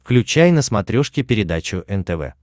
включай на смотрешке передачу нтв